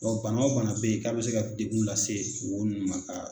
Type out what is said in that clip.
bana o bana bɛ yen k'a bɛ se ka degunw lase wo nunnu ma ka.